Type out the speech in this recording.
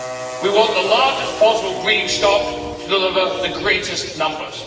We want the largest possible breeding stock to deliver the greatest numbers.